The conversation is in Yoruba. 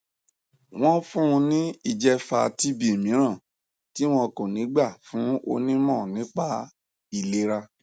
wọn fún un ní ìjẹfà tb mìíràn tí wọn kò ní gbà fún onímọ nípa ìlera